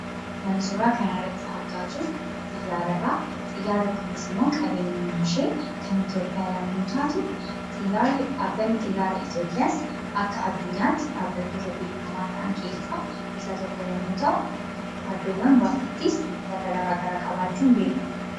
Kan suuraa kanarratti argaa jirru xiyyaaradhaa. Xiyyaarri kunis immoo qabeenyummaanshee kan Itoophiyaa yemmuu taatu, xiyyaarri dhaabbanni xiyyaara itoophiyaas akka addunyaatti dhaabbattoota beekamaa ta'an keessaa isa tokko yemmuu ta'u, iddoowwan baay'eettis buufata garaa garaa qabaachuun beekama.